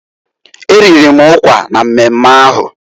E riri m ụkwa na mmemme ahụ.